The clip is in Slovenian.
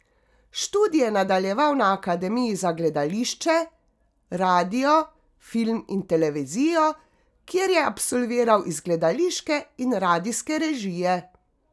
Študij je nadaljeval na Akademiji za gledališče, radio, film in televizijo, kjer je absolviral iz gledališke in radijske režije.